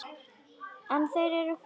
En þeir eru farnir.